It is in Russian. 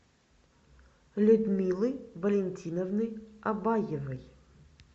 людмилы валентиновны абаевой